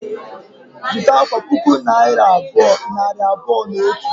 Zụta akwa puku naira abụọ, nari abụọ na otu